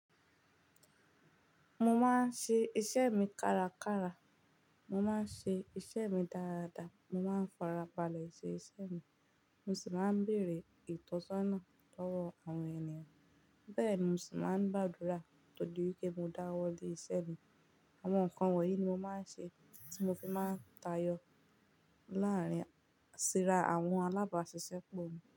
Mo máa ń ṣe iṣẹ́ mi kárakára, mo máa ń ṣe iṣẹ́ mi dáradára, mo máa ń farabalẹ́ ṣẹ́ ìṣe mi mo sì máa ń bèerè ìtọ́sọ́nà lọ́wọ́ àwọn ènìyàn. Bẹ́ẹ̀ ni mo sì máa ń gbàdúrà ko to dí pé mo dáwọ́ lé ìṣe mi. Àwọn nǹkan wọ̀nyí ni mo máa ń ṣe, tí mo fi máa ń tayọ láàrín ṣíra àwọn alábàáṣiṣẹ́ pọ̀ mi.